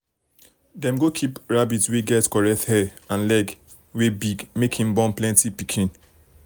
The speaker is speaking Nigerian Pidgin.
dem go keep rabbit wey get correct hair and leg wey big make him born plenty pikin